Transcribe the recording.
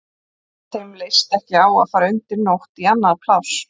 Þeim leist ekki á að fara undir nótt í annað pláss.